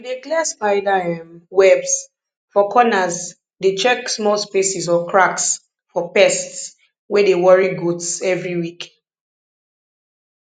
we dey clear spider um webs for corners dey check small spaces or cracks for pests wey dey worry goats every week